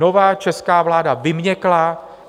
Nová česká vláda vyměkla.